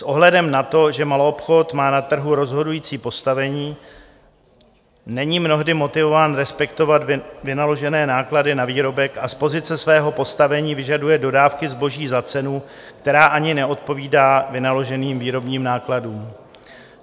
S ohledem na to, že maloobchod má na trhu rozhodující postavení, není mnohdy motivován respektovat vynaložené náklady na výrobek a z pozice svého postavení vyžaduje dodávky zboží za cenu, která ani neodpovídá vynaloženým výrobním nákladům.